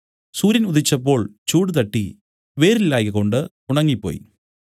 സൂര്യൻ ഉദിച്ചപ്പോൾ ചൂട് തട്ടി വേരില്ലായ്കകൊണ്ട് ഉണങ്ങിപ്പോയി